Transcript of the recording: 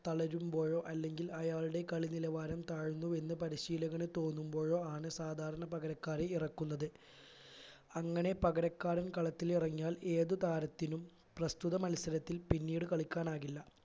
തളരുമ്പോഴോ അല്ലെങ്കിൽ അയാളുടെ കളി നിലവാരം താഴ്ന്നു എന്ന് പരിശീലകന് തോന്നുമ്പോഴോ ആണ് സാധാരണ പകരക്കാരെ ഇറക്കുന്നത് അങ്ങനെ പകരക്കാരൻ കളത്തിൽ ഇറങ്ങിയാൽ ഏതു താരത്തിനും പ്രസ്തുത മത്സരത്തിൽ പിന്നീട് കളിക്കാനാകില്ല